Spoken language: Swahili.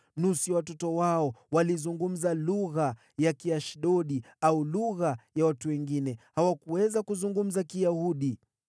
Nusu ya watoto wao walizungumza lugha ya Kiashidodi au lugha ya watu wengine, bali hawakuweza kuzungumza Kiyahudi.